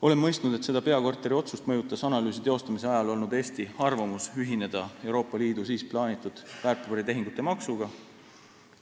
Oleme mõistnud, et seda peakorteri otsust mõjutas analüüsi teostamise ajal olnud Eesti arvamus ühineda Euroopa Liidu siis plaanitud väärtpaberitehingute maksuga.